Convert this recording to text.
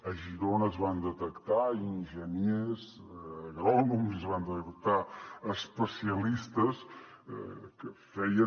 a girona es van detectar enginyers agrònoms i es van detectar especialistes que feien